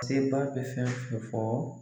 Sebaa bɛ fɛn fɛn fɔ